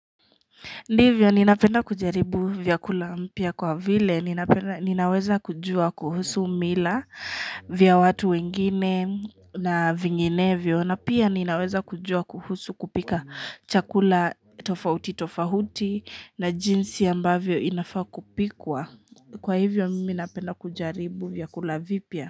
Ndivyo ninapenda kujaribu vyakula mpya kwa vile, ninaweza kujua kuhusu mila vya watu wengine na vinginevyo, na pia ninaweza kujua kuhusu kupika chakula tofauti tofauti na jinsi ambavyo inafaa kupikwa. Kwa hivyo mimi napenda kujaribu vyakula vipya?